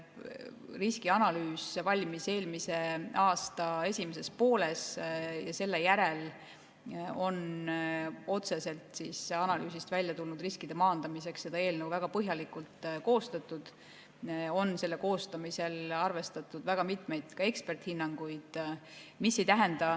Riskianalüüs valmis eelmise aasta esimeses pooles ja selle järel on otseselt analüüsist väljatulnud riskide maandamiseks seda eelnõu väga põhjalikult koostatud ja koostamisel on arvestatud väga mitmeid eksperdihinnanguid.